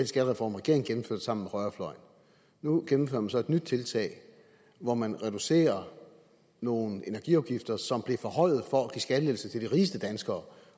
skattereform regeringen gennemførte sammen med højrefløjen nu gennemfører man så et nyt tiltag hvor man reducerer nogle energiafgifter som blev forhøjet for at give skattelettelser til de rigeste danskere